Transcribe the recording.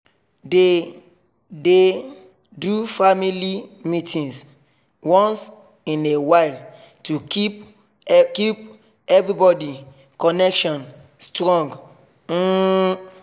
they dey do family meetings once in a while to keep keep everybody connection strong um